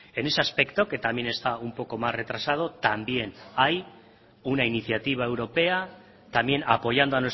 en ese aspecto que también está un poco más retrasado también hay una iniciativa europea también apoyando